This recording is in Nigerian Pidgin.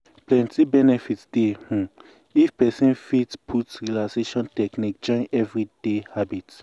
plenty benefit dey um if person fit put um relaxation techniques join everyday habit.